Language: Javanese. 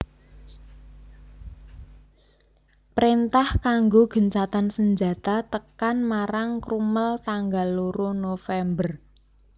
Préntah kanggo gencatan senjata tekan marang Crummel tanggal loro November